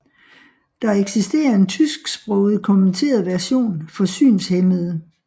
Der eksisterer en tysksproget kommenteret version for synshæmmede